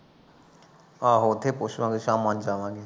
ਆਹੋ ਉੱਥੇ ਪੁੱਛ ਲਾਂਗੇ ਸਾਮਾਂ ਨੂੰ ਜਾਵਾਂਗੇ